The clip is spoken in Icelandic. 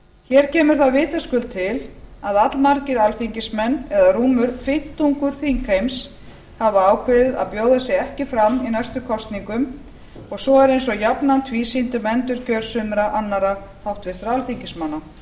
hér kemur það vitaskuld til að allmargir alþingismenn eða rúmur fimmtungur þingheims hafa ákveðið að bjóða sig ekki fram í næstu kosningum og svo er eins og jafnan tvísýnt um endurkjör sumra annarra háttvirtra alþingismanna